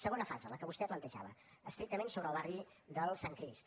segona fase la que vostè plantejava estrictament sobre el barri del sant crist